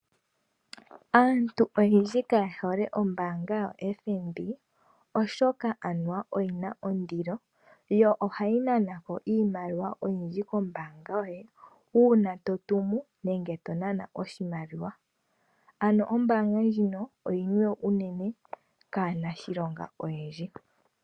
Aakwashigwana yamwe ihaya longitha ombaanga yotango yopashigwana unene tuu mboka ihaya longo. Oya itaala kutya ohayi nana ko iimaliwa oyindji yiishoshela ngele ya hala okutuma iimaliwa kaapambele yawo. Onkene ombaanga ndjoka ohayi longithwa kaanashilonga.